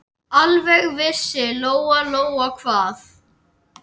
Alveg vissi Lóa-Lóa hvað